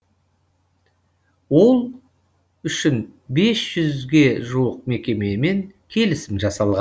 ол үшін бес жүзге жуық мекемемен келісім жасалған